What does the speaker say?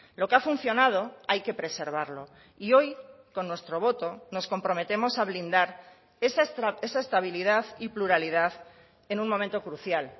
lo que ha funcionado hay que preservarlo y hoy con nuestro voto nos comprometemos a blindar esa estabilidad y pluralidad en un momento crucial